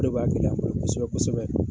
kosɛbɛ kosɛbɛ.